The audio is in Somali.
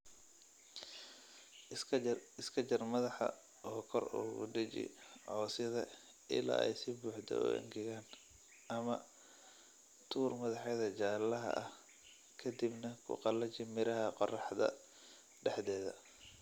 Iska jar madaxa oo kor ugu dheji cawsyada ilaa ay si buuxda u engegaan ama; Tuur madaxyada jaalaha ah ka dibna ku qalaji miraha qorraxda dhexdeeda.